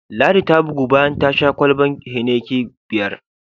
Ladi ta bugu bayan ta sha kwalban Heineken biyar.